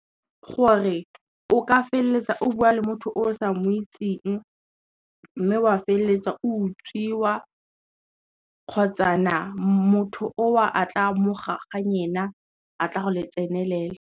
Gore o ka feleletsa o buwa le motho o sa mo itseng, mme wa feleletsa o utswiwa, kgotsana motho oo a tla mo gaga nyena a tla go le tsenelela.